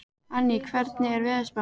Anný, hvernig er veðurspáin?